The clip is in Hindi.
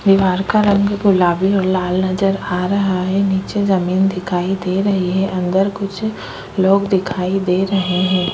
दीवार का रंग गुलाबी और लाल नज़र आ रहा है नीचे जमीन दिखाई दे रही है अंदर कुछ लोग दिखाई दे रहे है।